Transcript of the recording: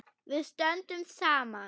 Við stöndum saman.